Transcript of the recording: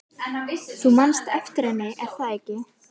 Þú manst eftir henni, er það ekki?